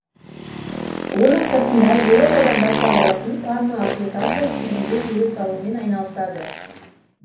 оның сыртында еуропадан бастау алатын панно аппликация стилінде сурет салумен айналысады